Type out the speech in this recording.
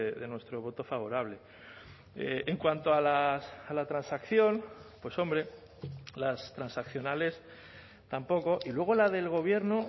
de nuestro voto favorable en cuanto a la transacción pues hombre las transaccionales tampoco y luego la del gobierno